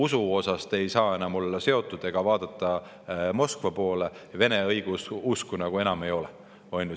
Teie usk ei saa enam olla seotud Moskvaga ega vaadata Moskva poole, Vene õigeusku sellisel kujul enam ei ole.